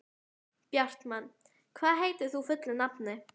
Bjartmann, hvað heitir þú fullu nafni?